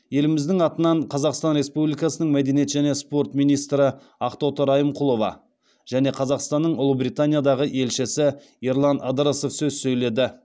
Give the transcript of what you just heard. еліміздің атынан қазақстан республикасының мәдениет және спорт министрі ақтоты райымқұлова және қазақстанның ұлыбританиядағы елшісі ерлан ыдырысов сөз сөйледі